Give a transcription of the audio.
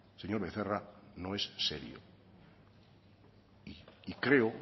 señor becerra no es serio y creo o